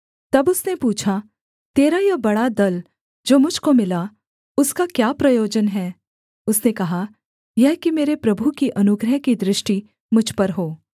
तब उसने पूछा तेरा यह बड़ा दल जो मुझ को मिला उसका क्या प्रयोजन है उसने कहा यह कि मेरे प्रभु की अनुग्रह की दृष्टि मुझ पर हो